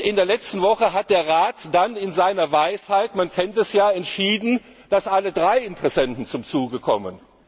In der letzten Woche hat der Rat dann in seiner Weisheit man kennt es ja entschieden, dass alle drei Interessenten zum Zuge kommen.